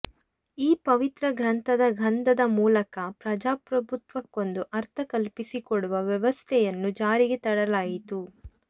ಈ ಪವಿತ್ರ ಗ್ರಂಥದ ಗಂಧದ ಮೂಲಕ ಪ್ರಜಾಪ್ರಭುತ್ವಕ್ಕೊಂದು ಅರ್ಥ ಕಲ್ಪಿಸಿಕೊಡುವ ವ್ಯವಸ್ಥೆಯನ್ನು ಜಾರಿಗೆ ತರಲಾಯಿತು